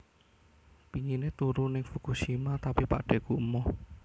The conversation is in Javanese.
Pingine turu ning Fukushima tapi pakdheku emoh